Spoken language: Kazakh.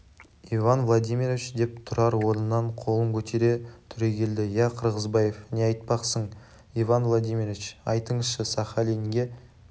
иван владимирович деп тұрар орнынан қолын көтере түрегелді иә қырғызбаев не айтпақсың иван владимирович айтыңызшы сахалинге